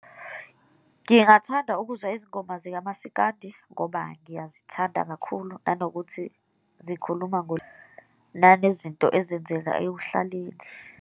Ngingathanda ukuzwa izingoma zikamasikandi ngoba ngiyazithanda kakhulu, nanokuthi zikhuluma , nanezinto ezenzeka ekuhlaleni.